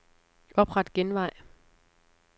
Opret genvej.